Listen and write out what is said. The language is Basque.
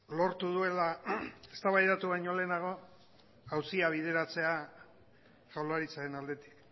lortu duela eztabaidatu baino lehenago auzia bideratzea jaurlaritzaren aldetik